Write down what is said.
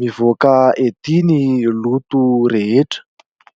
mivoaka ety ny loto rehetra.